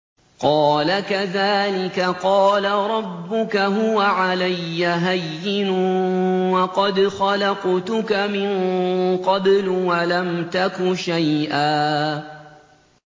قَالَ كَذَٰلِكَ قَالَ رَبُّكَ هُوَ عَلَيَّ هَيِّنٌ وَقَدْ خَلَقْتُكَ مِن قَبْلُ وَلَمْ تَكُ شَيْئًا